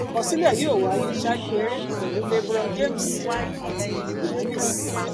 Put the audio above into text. àkọsílẹ yóò wáyé ṣáájú eré pẹlú lebron james àti giannis